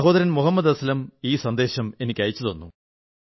സഹോദരൻ മുഹമ്മദ് അസ്ലം ഈ സന്ദേശം എനിക്കയച്ചു